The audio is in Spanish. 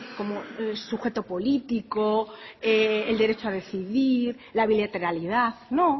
como el sujeto político el derecho a decidir la bilateralidad no